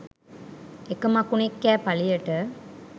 එක මකුණෙක් කෑ පළියට